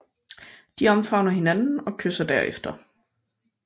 De omfavner hinanden og kysser derefter